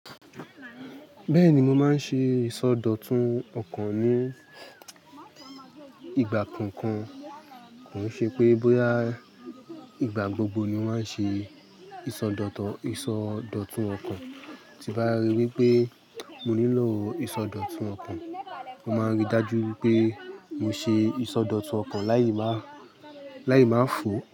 Bẹ́ẹ̀ni, mo máa ń ṣe ìsọdọ̀tun ọkàn ní ìgbà kankan. Kò ṣe pé bóyá ìgbà gbogbo ni màá ṣe ìsọdọ̀tun ọkàn, tí bá rí wípé mo nílò ìsọdọ̀tun ọkàn, mo máa ríi dájú wípé mo ṣe ìsọdọ̀tun ọkàn láì máa, láì máa fò.